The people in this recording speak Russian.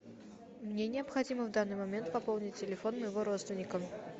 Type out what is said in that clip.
мне необходимо в данный момент пополнить телефон моего родственника